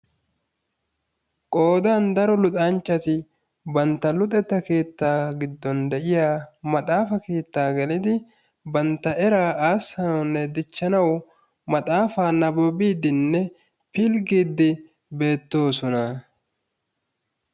Qoodan daro luxancnchati bantta luxetta keettaa giddon de'iyaa maxaafa keettaa gelidi bantta era aassanawunne dichchanw maxaafa pilggidinne nababbidi beettoosona.